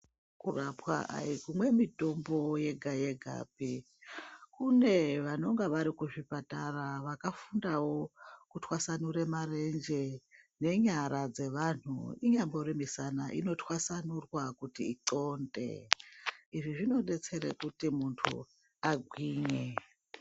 Kurapwa aikumwe mitombo yega yegapi, kune vanonga vari kuzvipatara vakafundawo kutwasanure marenje ngenyara dzevanthu inyambori mushana inotwasanurwa kuti ixonde izvi zvinodetsere kuti muntu agwinye.